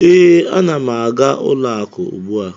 Ee, ana m aga ụlọakụ ugbu a.